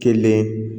Kelen